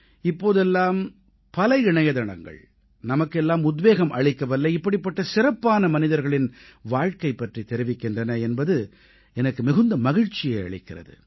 இப்போதெல்லாம் பல இணையதளங்கள் நமக்கெல்லாம் உத்வேகம் அளிக்கவல்ல இப்படிப்பட்ட சிறப்பான மனிதர்களின் வாழ்க்கை பற்றி தெரிவிக்கின்றன என்பது எனக்கு மிகுந்த மகிழ்ச்சியை அளிக்கிறது